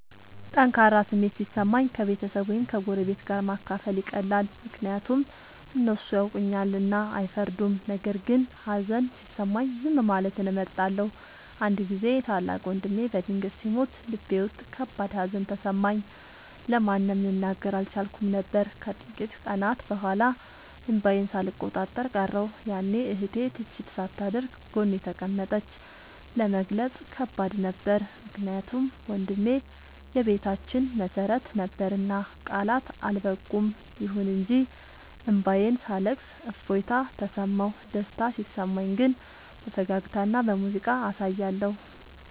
ጠንካራ ስሜት ሲሰማኝ ከቤተሰብ ወይም ከጎረቤት ጋር ማካፈል ይቀላል፤ ምክንያቱም እነሱ ያውቁኛልና አይፈርዱም። ነገር ግን ሀዘን ሲሰማኝ ዝም ማለትን እመርጣለሁ። አንድ ጊዜ ታላቅ ወንድሜ በድንገት ሲሞት ልቤ ውስጥ ከባድ ሀዘን ተሰማኝ፤ ለማንም ልናገር አልቻልኩም ነበር። ከጥቂት ቀናት በኋላ እንባዬን ሳልቆጣጠር ቀረሁ፤ ያኔ እህቴ ትችት ሳታደርግ ጎኔ ተቀመጠች። ለመግለጽ ከባድ ነበር ምክንያቱም ወንድሜ የቤታችን መሰረት ነበርና ቃላት አልበቁም። ይሁን እንጂ እንባዬን ሳለቅስ እፎይታ ተሰማሁ። ደስታ ሲሰማኝ ግን በፈገግታና በሙዚቃ አሳያለሁ።